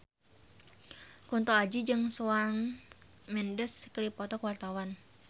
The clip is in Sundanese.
Kunto Aji jeung Shawn Mendes keur dipoto ku wartawan